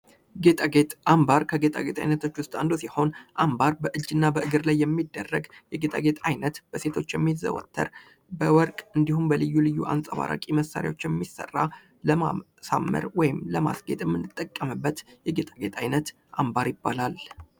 ጌጣጌጥ ። አምባር ከጌጣጌጥ አይነቶች ውስጥ አንዱ ሲሆን አምባር በእጅ እና በእግር ላይ የሚደረግ የጌጣጌጥ አይነት በሴቶች የሚዘወተር በወርቅ እንዲሁም በልዩ ልዩ አንፀባራቂ መሳሪያዎች የሚሰራ ለማሳመር ወይም ለማጌጥ የምንጠቀምበት የጌጣጌጥ አይነት አምባር ይባላል ።